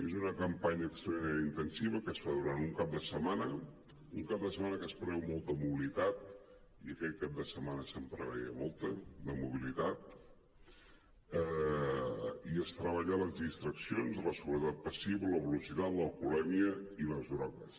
és una campanya extraordinària intensiva que es fa durant un cap de setmana un cap de setmana que es preveu molta mobilitat i aquell cap de setmana se’n preveia molta de mobilitat i es treballen les distraccions la seguretat passiva la velocitat l’alcoholèmia i les drogues